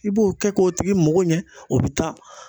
I b'o kɛ k'o tigi mako ɲɛ ,o be taa